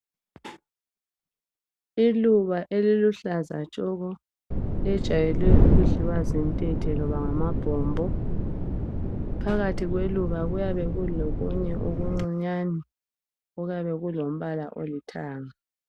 Iluba eliluhlaza tshoko, lijayele ukudliwe zintethe loba ngamabhombo. Phakathi kweluba kuyabe kulokunye okuncinyane okuyabekulombala olithanga.